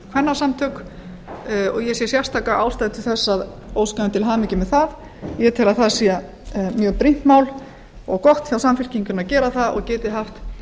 kvennasamtök og ég sé sérstaka ástæðu til að óska þeim til hamingju með það ég tel að það sé mjög brýnt mál og gott hjá samfylkingunni að gera það og geti haft